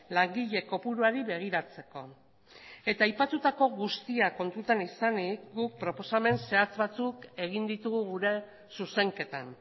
langile kopuruari begiratzeko eta aipatutako guztia kontutan izanik guk proposamen zehatz batzuk egin ditugu gure zuzenketan